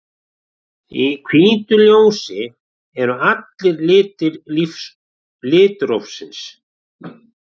Í hvítu ljósi eru allir litir litrófsins.